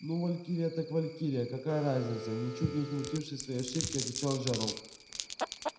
ну валькирия так валькирия какая разница ничуть не смутившись своей ошибки отвечал джералд